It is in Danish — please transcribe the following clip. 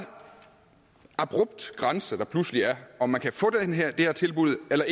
abrupt grænse der pludselig er om man kan få det her her tilbud eller